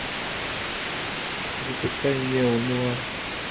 запускай неонуар